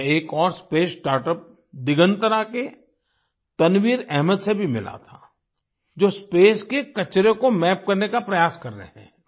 मैं एक और स्पेस स्टार्टअप्स दिगंतरा के तनवीर अहमद से भी मिला था जो स्पेस के कचरे को मैप करने का प्रयास कर रहे हैं